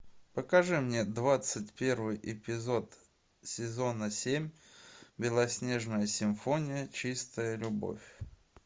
покажи мне двадцать первый эпизод сезона семь белоснежная симфония чистая любовь